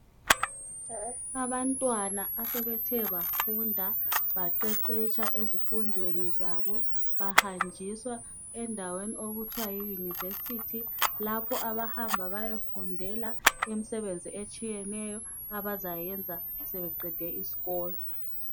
Abantwana asebethe bafunda baqeqetsha ezifundweni zabo bahanjiswa endaweni okuthiwa Yunivesithi lapho abahamba beyofundela umsebenzi etshiyeneyo abazayenza sebeqede isikolo.